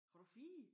Har du 4?